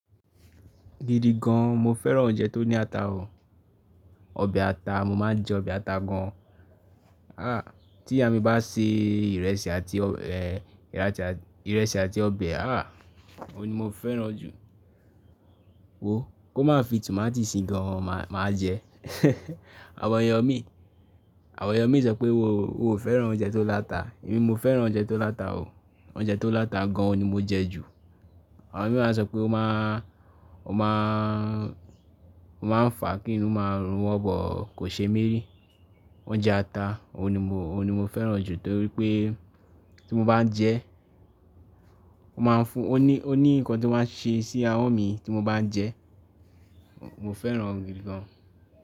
Gidi gan, mo fẹ́ràn oúnjẹ tó ní ata o. Ọbẹ̀ ata, mo máa ń jẹ ọbẹ̀ ata gan. Tí ìyá mi bá sè ìrẹsì àti ọbẹ̀, ìrẹsì àti ọbẹ̀, Ó ni mo fẹ́ràn jù. Wo, kó má fi tomati sí i gan, màá jẹ. Àwọn ẹyọ mi, àwọn ẹyọ mi sọ pé wo, wo o fẹ́ràn oúnjẹ tó láta. Èmi mo fẹ́ràn oúnjẹ tó láta o. Oúnjẹ tó láta gan ni mo jẹ jù. Àwọn mii máa ń sọ pé ó máa, ó máa ń fà kí inú máa rúnwọ́ but, kò ṣe mí rí. Oúnjẹ ata, òhun ni mo, òhun ni mo fẹ́ràn jù torí pé tí mo bá jẹ ẹ́, ó máa ń fún-- ó ní, ó ní nǹkan tí ó máa ń ṣe sí ahọ́n mi tí mo bá n jẹ ẹ́. Mo fẹ́ràn gidi gan.